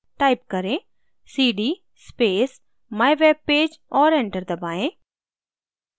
type करें: cd space mywebpage और enter दबाएँ